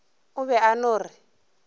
o be a no re